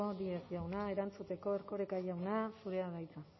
díez jauna erantzuteko erkoreka jauna zurea da hitza